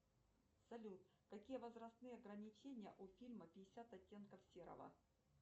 салют какие возрастные ограничения у фильма пятьдесят оттенков серого